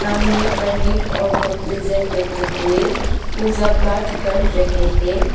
सामने पंडित और भक्तजन बैठे हुए पूजा पाठ कर रहे हैं।